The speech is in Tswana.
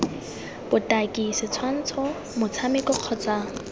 cd botaki setshwantsho motshameko kgotsa